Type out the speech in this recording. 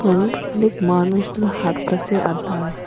অনেক মানুষগুলা হাঁটতাসে আর দাঁড়ায়া--